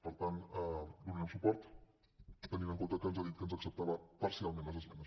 per tant hi donarem suport tenint en compte que ens ha dit que ens acceptava parcialment les esmenes